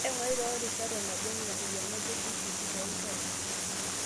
Ing'urai toorishat enba irng'anayio le TPD too nkera.